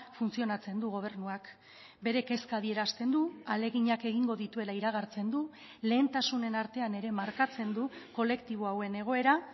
funtzionatzen du gobernuak bere kezka adierazten du ahaleginak egingo dituela iragartzen du lehentasunen artean ere markatzen du kolektibo hauen egoera